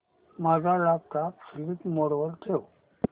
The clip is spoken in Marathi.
माझा लॅपटॉप स्लीप मोड वर ठेव